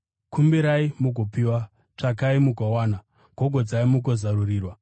“Kumbirai mugopiwa, tsvakai mugowana, gogodzai mugozarurirwa.